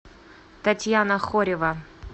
татьяна хорева